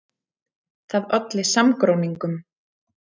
Það olli samgróningum.